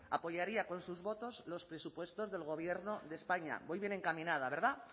apoyaría con sus votos los presupuestos del gobierno de españa voy bien encaminada verdad